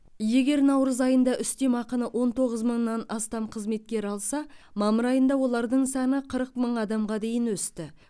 егер наурыз айында үстемеақыны он тоғыз мыңнан астам қызметкер алса мамыр айында олардың саны қырық мың адамға дейін өсті